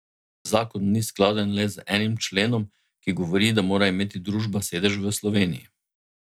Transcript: Zakon ni skladen le z enim členom, ki govori, da mora imeti družba sedež v Sloveniji.